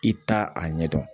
I t'a a ɲɛdɔn